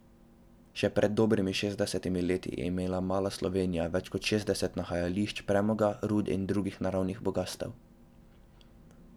Še pred dobrimi šestdesetimi leti je imela mala Slovenija več kot šestdeset nahajališč premoga, rud in drugih naravnih bogastev.